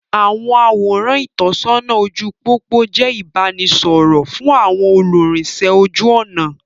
Àwọn àwòrán ìtọ́sọ́nà ojú pópó jẹ ìbánisọọ̀rọ̀ fún àwọn olúrinsẹ́ ojú ọnà.